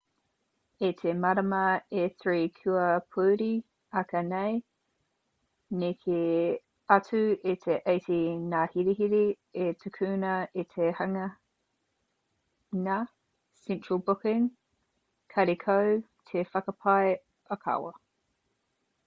i te marama e 3 kua pahure ake nei neke atu i te 80 ngā herehere i tukuna i te hanganga central booking karekau te whakapae ōkawa